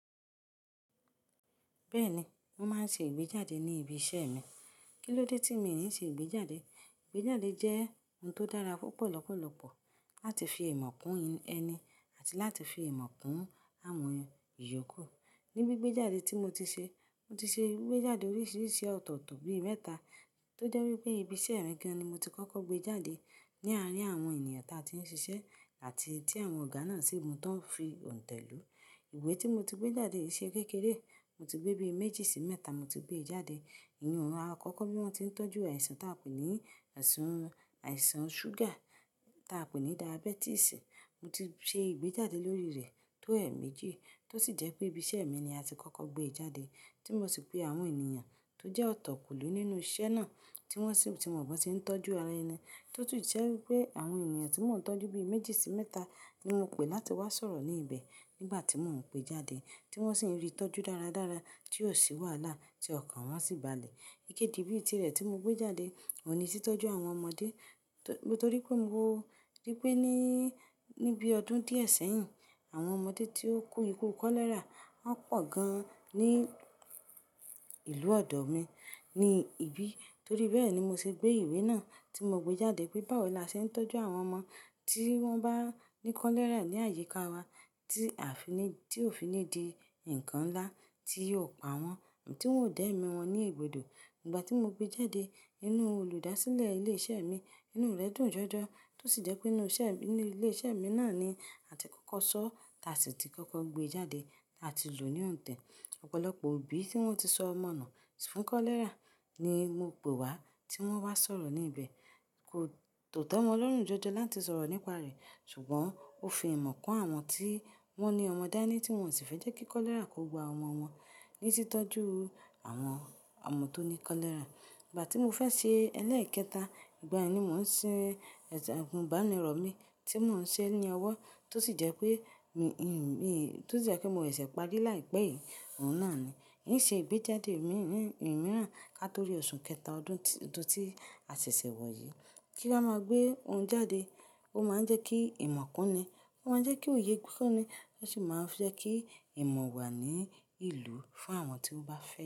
Bẹ́ẹ̀ni, mo máa ń ṣe ìgbéjáde ní ibi iṣẹ́ mi. Kí ló dé tí mi ní ń ṣe ìgbéjáde? Ìgbéjáde jẹ́ ohun tó dára púpọ̀ lọ́pọ̀lọpọ̀ láti fi ìmọ̀ kún ẹni àti láti fi ìmọ̀ kún àwọn ìyókù. Ni bí ìgbéjáde tí mo ti ṣe, mo ti ṣe ìgbéjáde oríṣiríṣi ọ̀tọ̀otò bií mẹ́ta tó jẹ́ wí pé ibi iṣẹ́ mi ni mo ti kọ́kọ́ gbé jáde. Ni àárín àwọn ènìyàn tí a ti ń ṣiṣẹ́ àti tí àwọn ọ̀gá náà sì mú tán fi òǹtẹ̀ lùú. Ìwé tí mo ti gbé jáde ṣe kékeré. Mo ti gbé bí méjì sí mẹ́ta mo ti gbé jáde. Inú rẹ á kọ́kọ́ bí wọ́n ti ń tọ́jú àìsàn táa pè ní àìsàn ṣúgà táa pè ní diabẹ́tìsì. Mo ti ṣe ìgbéjáde lórí rẹ̀ tó ẹ̀ẹ́méjì tó sì jẹ́ pé ibi iṣẹ́ mi ni a ti kọ́kọ́ gbé jáde tí mo sì pe àwọn ènìyàn tó jẹ́ ọ̀tọ̀ kùlú nínú iṣẹ́ náà tí wọ́n sì, tí mo mọ̀ pé wọ́n ti ń tọ́jú ara ẹni tó tún jẹ́ wí pé àwọn ènìyàn tí mò ń tọ́jú bí méjì sí mẹ́ta ni mo pe láti wá sọ̀rọ̀ ní ibẹ̀ nígbà tí mò ń pe jáde tí wọ́n sì ń rí ìtọ́jú dáradára tí ò sí wàhálà tí ọkàn wọn sì balẹ̀. Ikẹ́ji bí i tirẹ̀ tí mo gbé jáde, òun ní títọ́jú àwọn ọmọdé torí pé mo rí pé ní, ní bí ọdún díẹ̀ sẹ́yìn àwọn ọmọdé tí ó kú ikú kọ́lẹ́rà wọ́n pọ̀ gan ní ìlú ọ̀dọ́ mi ní ibi. Torí bẹ́ẹ̀ ni mo ṣe gbé ìwé náà tí mo gbé jáde pé báwo la ṣe ń tọ́jú àwọn ọmọ tí wọ́n bá ní kọ́lẹ́rà ní àyíká wa tí àfiní, tí ò finìdí ǹkan ńlá tí yóò pa wọ́n, tí wọn ò da ẹ̀mí wọn ní egbodó. Nígbà tí mo gbé jáde inú olùdásílẹ̀ ilé iṣẹ́ mi, inú rẹ̀ dùn jọjọ tó sì jẹ́ pé inú iṣẹ́, inú ilé iṣẹ́ mi náà ni a ti kọ́kọ́ sọ́ táa sì ti kọ́kọ́ gbé jáde táa ti lò ní òǹtẹ̀. Ọ̀pọ̀lọpọ̀ òbí tí wọ́n ti sọ ọmọ náà fún kọ́lẹ́rà ni mo pe wá tí wọ́n wá sọ̀rọ̀ ní ibẹ̀. Kò te wọn lórùn jọjọ láti sọ̀rọ̀ nípa rẹ̀ ṣùgbọ́n ó fi ìmọ̀ kún àwọn tí wọ́n ní ọmọ dání tí wọ́n sì fẹ́ jẹ́ kí kọ́lẹ́rà kó gba ọmọ wọn ní títọ́jú àwọn ọmọ tó ní kọ́lẹ́rà. Ìgbà tí mo fẹ́ ṣe ẹlẹ́ẹ̀kẹta, ìgbà yẹn ni mò ń ṣe agúnbánirọ̀ mi tí mò ń ṣe ní ọwọ́ tó sì jẹ́ pé mi, mi, tó sì jẹ́ pé mo lè ṣè párí láìpẹ́ yìí, òun náà ni. Ìn ṣe ìgbéjáde miiran ká torí oṣù kẹta ọdún, ọdún tí a ṣẹ̀ṣẹ̀ wọ̀ yìí. Kí á máa gbé ohun jáde, ó máa ń jẹ́ kí ìmọ̀ kún ni, ó máa ń jẹ́ kí òye kún ni, ó sì máa ń jẹ́ kí ìmọ̀ wà ní ìlú fún àwọn tí ó bá fẹ́